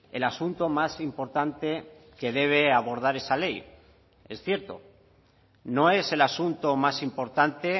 el asunto más importante que debe abordar esa ley es cierto no es el asunto más importante